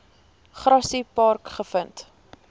grassy park gevind